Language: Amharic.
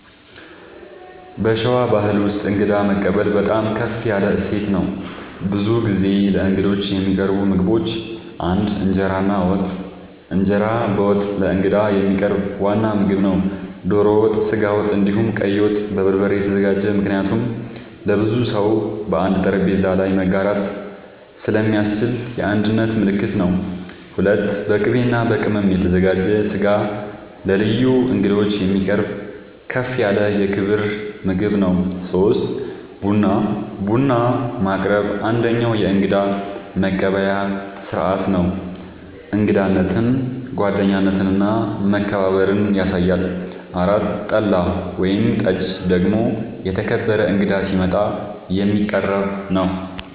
በሸዋ ባሕል ውስጥ እንግዳ መቀበል በጣም ከፍ ያለ እሴት ነው። ብዙ ጊዜ ለእንግዶች የሚቀርቡ ምግቦች ፩) እንጀራ እና ወጥ፦ እንጀራ በወጥ ለእንግዳ የሚቀርብ ዋና ምግብ ነው። ዶሮ ወጥ፣ ስጋ ወጥ፣ እንዲሁም ቀይ ወጥ( በበርበሬ የተዘጋጀ) ምክንያቱም ለብዙ ሰው በአንድ ጠረጴዛ ላይ መጋራት ስለሚያስችል የአንድነት ምልክት ነው። ፪.. በቅቤ እና በቅመም የተዘጋጀ ስጋ ለልዩ እንግዶች የሚቀርብ ከፍ ያለ የክብር ምግብ ነው። ፫. ቡና፦ ቡና ማቅረብ አንደኛዉ የእንግዳ መቀበያ ስርዓት ነው። እንግዳነትን፣ ጓደኝነትን እና መከባበርን ያሳያል። ፬ .ጠላ ወይም ጠጅ ደግሞ የተከበረ እንግዳ ሲመጣ የሚቀረብ ነዉ